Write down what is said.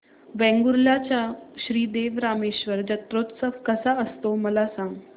वेंगुर्ल्या चा श्री देव रामेश्वर जत्रौत्सव कसा असतो मला सांग